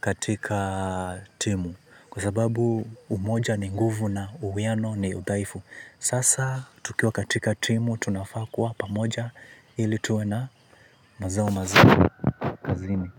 katika timu kwa sababu umoja ni nguvu na uwiano ni udhaifu. Sasa tukiwa katika timu tunafaa kuwa pamoja ili tuwe na mazao mazuri kazini.